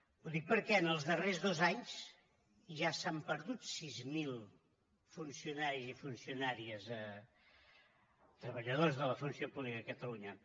ho dic perquè en els darrers dos anys ja s’han perdut sis mil funcionaris i funcionàries treballadors de la funció pública a catalunya